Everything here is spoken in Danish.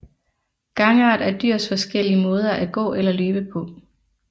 Gangart er dyrs forskellige måder at gå eller løbe på